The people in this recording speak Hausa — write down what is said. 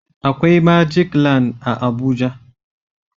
Akwai "magic land" a Abuja